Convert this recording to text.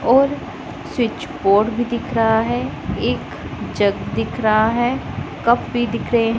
और switch board भी दिख रहा है एक जग दिख रहा है कप भी दिख रहे--